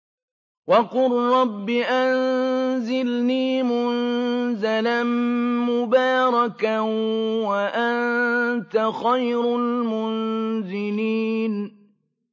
وَقُل رَّبِّ أَنزِلْنِي مُنزَلًا مُّبَارَكًا وَأَنتَ خَيْرُ الْمُنزِلِينَ